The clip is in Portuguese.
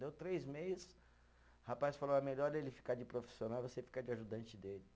Deu três meses, o rapaz falou, é melhor ele ficar de profissional, você ficar de ajudante dele.